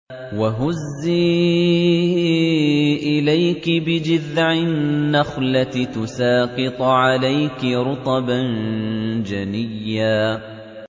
وَهُزِّي إِلَيْكِ بِجِذْعِ النَّخْلَةِ تُسَاقِطْ عَلَيْكِ رُطَبًا جَنِيًّا